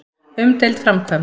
Umdeild framkvæmd.